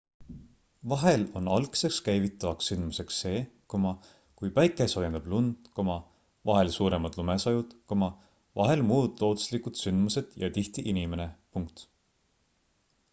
vahel on algseks käivitavaks sündmuseks see kui päike soojendab lund vahel suuremad lumesajud vahel muud looduslikud sündmused ja tihti inimene